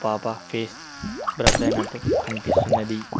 పాప face blur అయ్యినట్టు కనిపిస్తున్నది.